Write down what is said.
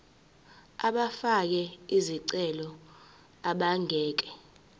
abafake izicelo abangeke